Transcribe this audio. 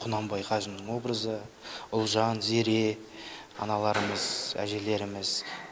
құнанбай қажының образы ұлжан зере аналарымыз әжелеріміз